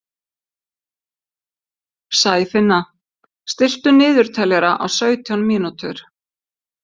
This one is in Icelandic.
Sæfinna, stilltu niðurteljara á sautján mínútur.